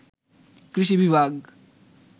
কৃষি বিভাগ